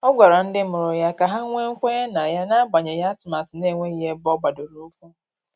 Ọ gwara ndị mụrụ ya ka ha nwee kwenye na ya, n'agbanyeghị atụmatụ na-enweghị ebe ọ gbadoro ụkwụ.